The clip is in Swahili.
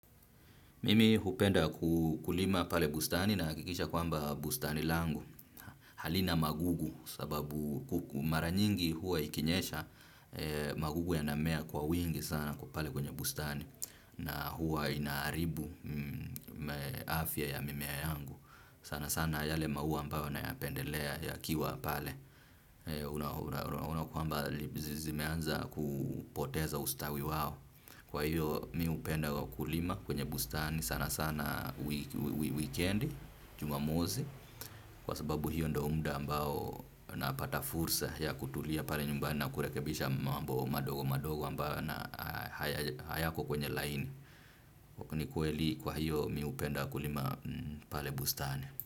Mimi hupenda kulima pale bustani nahakikisha kwamba bustani langu halina magugu sababu mara nyingi huwa ikinyesha magugu yanamea kwa wingi sana kwa pale kwenye bustani na huwa ina haribu afya ya mimea yangu. Sana sana yale maua ambayo nayapendelea yakiwa pale, unaona kwamba zimeanza kupoteza ustawi wao. Kwa hiyo mimi hupenda kulima kwenye bustani sana sana weekendi Jumamosi, kwa sababu hio ndio muda ambao napata fursa ya kutulia pale nyumbani na kurekebisha mambo madogo madogo ambayo na hayako kwenye laini. Ni kweli kwa hiyo mimi hupenda kulima pale bustani.